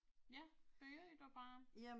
Ja, begynd du bare